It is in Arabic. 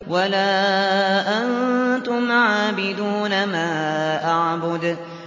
وَلَا أَنتُمْ عَابِدُونَ مَا أَعْبُدُ